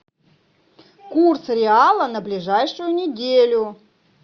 курс реала на ближайшую неделю